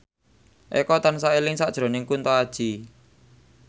Eko tansah eling sakjroning Kunto Aji